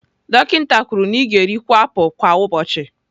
Dọkịta kwuru na ị ga-erikwu apụl kwa ụbọchị.